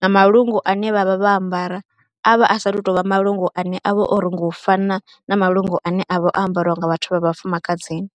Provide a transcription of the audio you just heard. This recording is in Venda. na malungu ane vha vha vha ambara a vha a saathu tou vha malungu ane a vha o rungiwa u fana na malungu ane a vha o ambarwa nga vhathu vha vhafumakadzini.